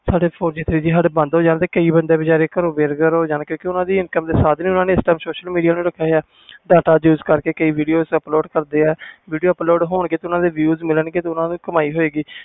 ਸਾਡੇ four G three G ਬੰਦ ਹੋ ਜਾਨ ਤੇ ਕਈ ਬੰਦੇ ਬੇਰੋਜਗਾਰ ਹੋ ਜਾਨ ਗਏ ਦੇਕਿਉਕਿ ਓਹਨਾ ਦੇ income ਸਾਧਨ ਹੀ social media ਦੇ data use ਕਰਕੇ video upload ਕਰਦੇ ਆ video upload ਹੋ ਗਏ ਤੇ views ਮਿਲਣ ਗਏ